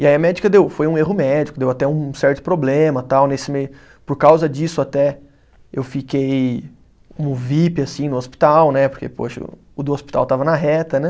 E aí a médica deu, foi um erro médico, deu até um certo problema tal nesse meio, por causa disso até eu fiquei como vip assim no hospital né, porque poxa, o do hospital estava na reta né.